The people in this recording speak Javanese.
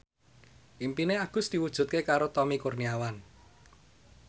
impine Agus diwujudke karo Tommy Kurniawan